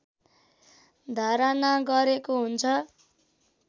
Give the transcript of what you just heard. धारणा गरेको हुन्छ